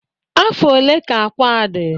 Afọ ole ka akwa a dị?